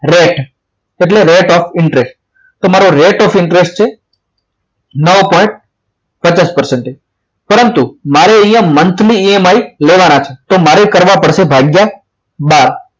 rate એટલે rate of interest તમારો rate of interest છે પચાસ ટકા પરંતુ મારે અહીંયા monthly EMI લેવાના છે તો મારે કરવા પડશે ભાગ્યા બાર